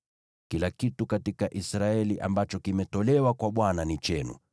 “Kila kitu katika Israeli ambacho kimetolewa kwa Bwana ni chenu.